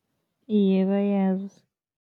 Iye, bayazi.